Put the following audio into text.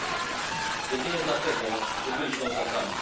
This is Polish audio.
ludzi jedynie dlatego, że byli Ślązakami.